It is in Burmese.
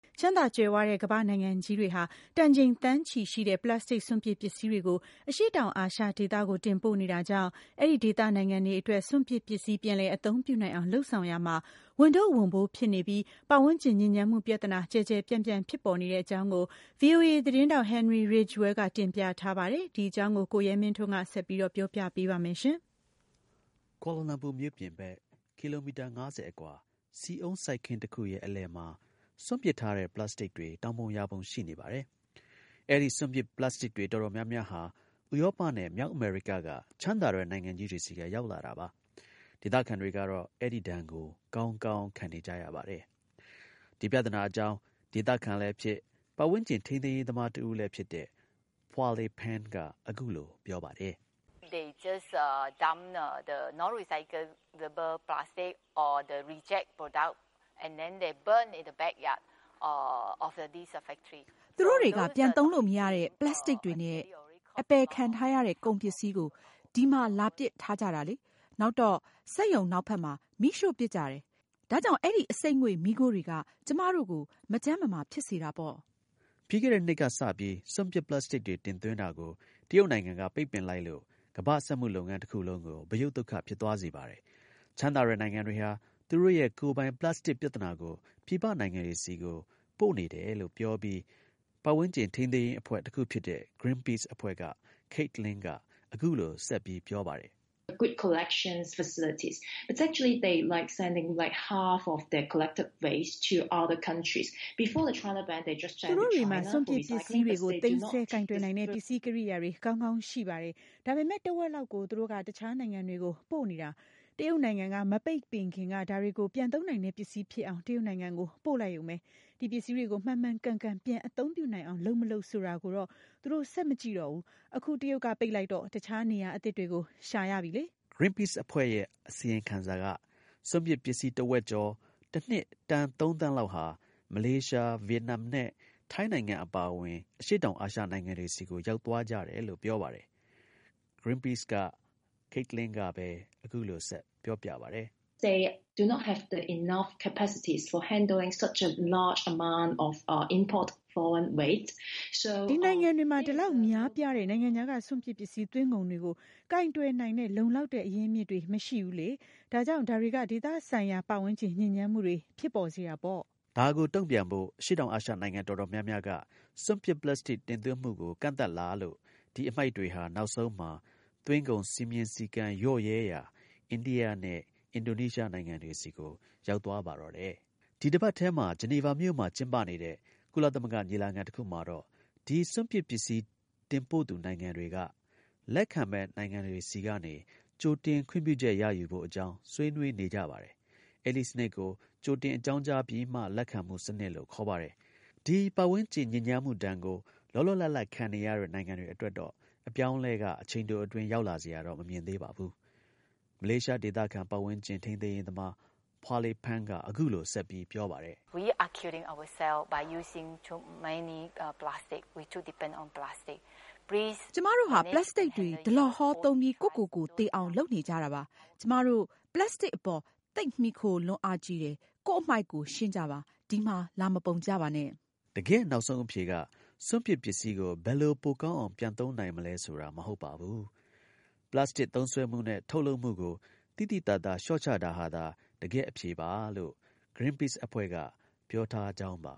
ချမ်းသာ ကြွယ်ဝတဲ့ ကမ္ဘာ့နိုင်ငံကြီးတွေဟာ တန်ချိန် သန်းချီရှိတဲ့ ပလပ်စတစ်စွန့်ပစ် ပစ္စည်းတွေကို အရှေ့တောင် အာရှဒေသကို တင်ပို့နေတာကြောင့် အဲဒီဒေသ နိုင်ငံတွေအတွက် စွန့်ပစ် ပစ္စည်း ပြန်လည် အသုံးပြုနိုင်အောင် လုပ်ဆောင်ရာမှာ ဝန်ထုပ်ဝန်ပိုး ဖြစ်နေပြီး ပတ်ဝန်းကျင် ညစ်ညမ်းမှု ပြဿနာ ကျယ်ကျယ် ပြန့်ပြန့် ဖြစ်ပေါ်နေတဲ့အကြောင်းကို VOA သတင်းထောက် Henery Ridgwell ကတင်ပြထားပါတယ်။ ကိုရဲမင်းထွန်းက ဆက်ပြောပြပါလိမ့်မယ်။ ကွာလာလမ်ပူမြို့ပြင်ဘက် ကီလိုမီတာ ၅၀ အကွာ ဆီအုန်း စိုက်ခင်းတစ်ခုရဲ့ အလယ်မှာ စွန့်ပစ်ထားတဲ့ ပလပ်စတစ်တွေ တောင်ပုံ ရာပုံ ရှိနေပါတယ်။ အဲဒီ စွန့်ပစ်ပလပ်စတစ်တွေ တော်တော် များများဟာ ဥရောပနဲ့ မြောက် အမေရိက က ချမ်းသာတဲ့ နိုင်ငံကြီးတွေဆီက ရောက်လာတာပါ။ ဒေသခံတွေကတော့ အဲဒီဒဏ်ကို ကောင်းကောင်း ခံနေကြရပါတယ်။ ဒီ ပြသနာ အကြောင်း ဒေသခံလည်းဖြစ်၊ ပတ်ဝန်းကျင် ထိန်းသိမ်းရေးသမားတစ်ဦလည်းဖြစ်တဲ့ Pua Lay Peng က အခုလို ပြောပါတယ်။ “သူတို့တွေက ပြန် သုံးလို့ မရတဲ့ ပလပ်စတစ်တွေနဲ့ အပယ်ခံထားရတဲ့ ကုန် ပစ္စည်းကို ဒီမှာ လာပစ်ထားကြတာလေ။ နောက်တော့ စက်ရုံနောက်ဘက်မှာ မီးရှို့ပစ်ကြတယ်။ ဒါကြောင့် အဲဒီ အဆိပ်ငွေ့ မီးခိုးတွေက ကျွန်မတို့ကို မကျန်းမမာဖြစ်စေတာပေါ့။” ပြီးခဲ့တဲ့ နှစ်ကစပြီး စွန့်ပစ် ပလပ်စတစ်တွေ တင်သွင်းတာကို တရုတ်နိုင်ငံက ပိတ်ပင်လိုက်လို့ ကမ္ဘာ စက်မှုလုပ်ငန်း တစ်ခုလုံးကို ဗရုတ်သုတ်ခ ဖြစ်သွားစေပါတယ်။ ချမ်းသာတဲ့ နိုင်ငံတွေဟာ သူတို့ရဲ့ ကိုယ်ပိုင်ပလပ်စတစ် ပြဿနာကို ပြည်ပနိုင်ငံတွေကို တင်ပို့ နေတယ်လို့ ပြောပြီး ပတ်ဝန်းကျင် ထိန်းသိမ်းရေးအဖွဲ့ တစ်ခုဖြစ်တဲ့ ဂရင်းပိစ် အဖွဲ့က Kate Lin က အခုလို ဆက်ပြောပါတယ်။ “သူတို့တွေမှာ စွန့်ပစ် ပစ္စည်းတွေကို သိမ်းဆည်း ကိုင်တွယ်နိုင်တဲ့ ပစ္စည်း ကိရိယာတွေ ကောင်းကောင်း ရှိပါတယ်။ ဒါပေမဲ့ တစ်ဝက်လောက်ကို သူတို့က တစ်ခြားနိုင်ငံတွေကို ပို့နေတယ်။ တရုတ်နိုင်ငံက မပိတ်ပင်ခင်က ဒါတွေကို ပြန်သုံးနိုင်တဲ့ပစ္စည်းဖြစ်အောင် တရုတ်နိုင်ငံကို ပို့လိုက်ရုံပဲ။ ဒီ ပစ္စည်းတွေကို မှန်မှန်ကန်ကန် ပြန် အသုံးပြုနိုင်အောင် လုပ် - မလုပ် ဆိုတာကိုတော့ သူတို့ ဆက် မကြည့်ကြတော့ဘူး။ အခု တရုတ်က ပိတ်လိုက်တော့ တစ်ခြား နေရာသစ်တွေကို ရှာကြပြီပေါ့။” ဂရင်းပိစ် အဖွဲ့ရဲ့ အစီရင်ခံစာက စွန့်ပစ် ပစ္စည်း တစ်ဝက်ကျော် တစ်နှစ် တန် ၃ သန်း လောက်ဟာ မလေးရှား၊ ဗီယက်နမ်နဲ့ ထိုင်းနိုင်ငံ အပါအဝင် အရှေ့တောင် အာရှနိုင်ငံတွေဆီကို ရောက်သွား ကြတယ် လို့ ပြောပါတယ်။ ဂရင်းပိစ်က Late Lin က အခုလို ဆက်ပြောပါတယ်။ “ဒီ နိုင်ငံတွေမှာ ဒီ လောက် များပြားတဲ့ နိုင်ငံခြားက စွန့်ပစ် ပစ္စည်း သွင်းကုန်တွေကို ကိုင်တွယ်နိုင်တဲ့ လုံလောက်တဲ့ အရင်းအမြစ်တွေ မရှိဘူးလေ။ ဒါကြောင့် ဒါတွေက ဒေသဆိုင်ရာ ပတ်ဝန်းကျင် ညစ်ညမ်းမှုတွေ ဖြစ်ပေါ်စေတာပေါ့။” ဒါကို တုံ့ပြန်ဖို့ အရှေ့တောင်အာရှ နှိုင်ငံတော်တော်များများက စွန့်ပစ် ပလပ်စတစ် တင်သွင်းမှုကို ကန့်သတ်လာလို့ဒီ အမှိုက်တွေဟာ နောက်ဆုံးမှာ သွင်းကုန် စည်းမျဉ်း စည်းကမ်း လျော့နေတဲ့ အိန္ဒိယနဲ့ အင်ဒိုနီးရှားနိုင်ငံတွေဆီကို ရောက်သွားပါတော့တယ်။ ဒီတစ်ပတ်ထဲမှာ ဂျီနီဗာမှာ ကျင်းပနေတဲ့ ကုလသမဂ္ဂ ညီလာခံ တစ်ခုမှာတော့ ဒီ စွန့်ပစ် ပစ္စည်း တင်ပို့သူနိုင်ငံတွေက လက်ခံမယ့် နိုင်ငံတွေဆီက ကြိုတင် ခွင့်ပြုချက် ရယူဖို့ အကြောင်း ဆွေးနွေးနေကြပါတယ်။ အဲဒီ စနစ်ကို ကြိုတင် အကြောင်းကြားပြီးမှ လက်ခံမှု စနစ်လို့ ခေါ်ပါတယ်။ ဒီ ပတ်ဝန်းကျင် ဒဏ်ကို လောလောလတ်လတ် ခံနေရတဲ့ နိင်ငံတွေအတွက်တော့ အပြောင်းအလဲက အချိန်တို အတွင်း ရောက်လာစရာတော့ မမြင်သေးပါဘူး။ မလေးရှား ဒေသခံ ပတ်ဝန်းကျင် ထိန်းသိမ်းရေးသမား Pua Lay Peng က အခုလို ဆက်ပြီး ပြောပါတယ်။ “ကျွန်မတို့ဟာ ပလတ်စတစ်တွေ ဒလဟော သုံးပြီး ကိုယ့်ကိုယ်ကို သေအောင် လုပ်နေကြတာပါ။ ကျွန်မတို့ ပလတ်စတစ်အပေါ် သိပ် မှီခိုလွန်းအားကြီးတယ်။ ကိုယ့် အမှိုက် ကိုယ် ရှင်းကြပါ။ ဒီမှာ လာ မပုံကြပါနဲ့။” တကယ့် နောက်ဆုံး အဖြေက စွန့်ပစ် ပစ္စည်းကို ဘယ်လို ပိုကောင်းအောင် ပြန်သုံးနိုင်မလဲဆိုတာ မဟုတ်ပါဘူး။ ပလတ်စတစ် သုံးစွဲမှုနဲ့ ထုတ်လုပ်မှုကို သိသိသာသာ လျှော့ချတာဟာသာ တကယ့် အဖြေပါလို့ ဂရင်းပိစ် အဖွဲ့က ပြောထားကြောင်းပါ